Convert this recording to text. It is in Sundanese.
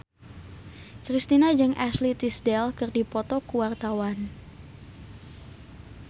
Kristina jeung Ashley Tisdale keur dipoto ku wartawan